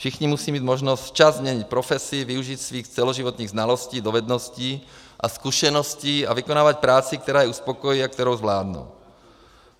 Všichni musí mít možnost včas změnit profesi, využít svých celoživotních znalostí, dovedností a zkušeností a vykonávat práci, která je uspokojí a kterou zvládnou.